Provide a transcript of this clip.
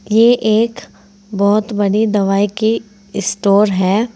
ये एक बहोत बड़ी दवाई की स्टोर है।